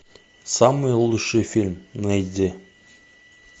самый лучший фильм найди